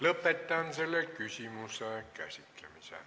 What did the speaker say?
Lõpetan selle küsimuse käsitlemise.